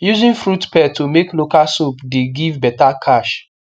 using fruit pearl to make local soap the give beta cash